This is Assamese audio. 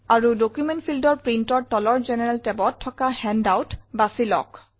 আৰু ডকুমেণ্ট fieldৰ Printৰ তলৰ জেনাৰেল tabত থকা হেণ্ডআউট বাছি লওঁক